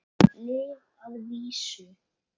Lyf að vísu.